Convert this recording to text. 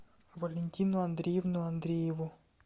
валентину андреевну андрееву